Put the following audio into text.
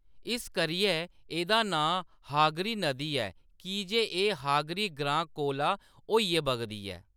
इस करियै एह्‌‌‌दा नांऽ हागरी नदी ऐ की जे एह्‌‌ हागरी ग्रां कोला होइयै बगदी ऐ।